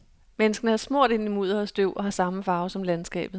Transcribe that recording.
Menneskene er smurt ind i mudder og støv og har samme farve som landskabet.